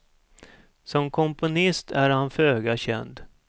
Som komponist är han föga känd.